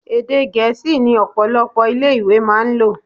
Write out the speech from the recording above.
Èdè gẹ̀ẹ́sì ni ọ̀pọ̀lọpọ̀ ilé ìwé máa ń lò